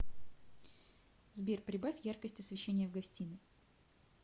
сбер прибавь яркость освещения в гостиной